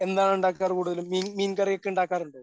എന്താണ് ഉണ്ടാക്കാറ് കൂടുതലും മീൻ മീൻകറിയൊക്കെ ഉണ്ടാകാറുണ്ടോ?